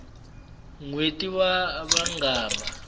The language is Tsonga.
nweti wa vangama